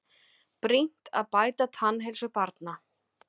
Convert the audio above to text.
Brýnt að bæta tannheilsu barna